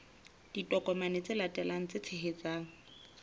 ditokomane tse latelang tse tshehetsang